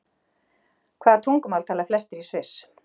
Hvaða tungumál tala flestir í Sviss?